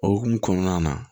O hokumu kɔnɔna na